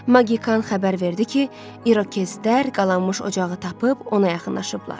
Maqikan xəbər verdi ki, İrakezlər qalanmış ocağı tapıb ona yaxınlaşıblar.